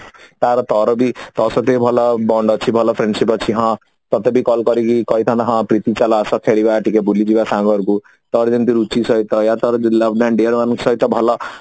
ତାର ତୋ ସହିତ ବି ଭଲ bond ଅଛି ଭଲ friendship ଅଛି ହଁ ତତେ ବି call କରିକି କହିଥାନ୍ତା ହଁ ଚାଲ ଆସ ଖେଳିବା ଟିକେ ବୁଲିଯିବା ସାଙ୍ଗ ଘରକୁ ତୋର ଯେମିତି ରୁଚି ସହିତ ୟା ତୋ love and dear ମାନଙ୍କ ସହିତ